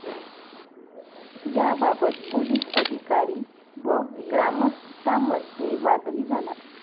याबाबत पोलिस अधिकारी व ग्रामस्थांमध्ये वादही झाला.